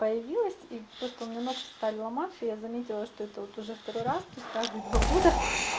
появилась и просто у меня ногти стали ломаться я заметила что это вот уже второй раз то есть каждые два года